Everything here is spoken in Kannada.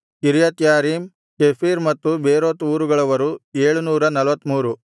ಕಿರ್ಯತ್ಯಾರೀಮ್ ಕೆಫೀರ ಮತ್ತು ಬೇರೋತ್ ಊರುಗಳವರು 743